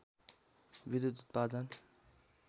विधुत उत्पादन